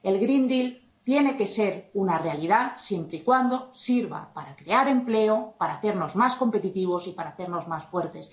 El Green Deal tiene que ser una realidad, siempre y cuando sirva para crear empleo, para hacernos más competitivos y para hacernos más fuertes.